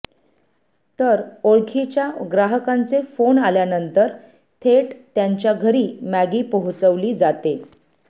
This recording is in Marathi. तर ओळखीच्या ग्राहकांचे फोन आल्यानंतर थेट त्यांच्या घरी मॅगी पोहोचवली जाते